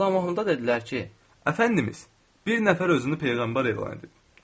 Sultan Mahmudə dedilər ki, əfəndimiz, bir nəfər özünü peyğəmbər elan edib.